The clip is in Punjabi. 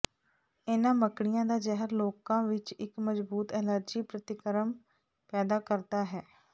ਇਨ੍ਹਾਂ ਮੱਕੜੀਆਂ ਦਾ ਜ਼ਹਿਰ ਲੋਕਾਂ ਵਿਚ ਇਕ ਮਜ਼ਬੂਤ ਐਲਰਜੀ ਪ੍ਰਤੀਕਰਮ ਪੈਦਾ ਕਰਦਾ ਹੈ